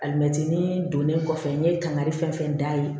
Alimɛti don ne kɔfɛ n ye kangari fɛn fɛn da ye